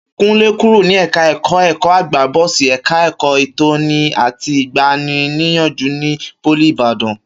Kúnlé kúrò ní ẹ̀ka ẹ̀kọ́ ẹ̀kọ́-àgbà bọ́sí ẹ̀ka ẹ̀kọ́ ìtọ́ni àti ìgbani-níyànjú ní pólì Ìbàdàn